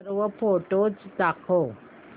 सर्व फोटोझ दाखव